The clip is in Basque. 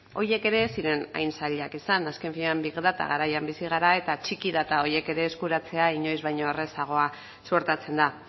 horiek ere ez ziren hain zailak izan azken finean big data garaian bizi gara eta txiki data horiek ere eskuratzea inoiz baino errazagoa suertatzen da